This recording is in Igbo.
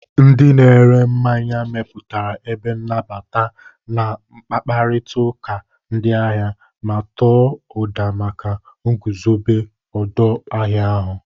Ndị na ere mmanya mepụtara ebe nnabata, na-akpakọrịta ndị ahịa, ma tọọ ụda maka nguzobe odu ahia ahu.